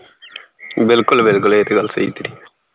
ਬਿਲਕੁਲ ਬਿਲਕੁਲ ਇਹ ਤੇ ਗੱਲ ਸਹੀ ਤੇਰੀ